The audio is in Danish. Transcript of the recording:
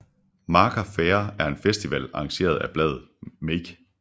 Maker Faire er en festival arrangeret af bladet Make